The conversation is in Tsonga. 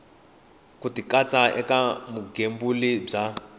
ku tikatsa eka vugembuli bya